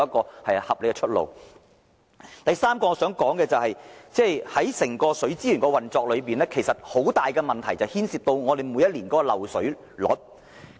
第三點我想說的是，本港整體水資源運作存在很大問題，就是每一年度的漏水率。